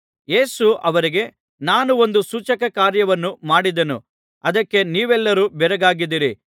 ಯೇಸು ಅವರಿಗೆ ನಾನು ಒಂದು ಸೂಚಕ ಕಾರ್ಯವನ್ನು ಮಾಡಿದೆನು ಅದಕ್ಕೆ ನೀವೆಲ್ಲರೂ ಬೆರಗಾಗಿದ್ದೀರಿ